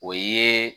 O ye